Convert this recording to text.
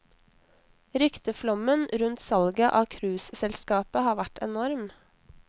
Rykteflommen rundt salget av cruiseselskapet har vært enorm.